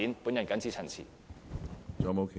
我謹此陳辭。